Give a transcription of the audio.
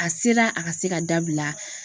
A se la a ka se ka dabila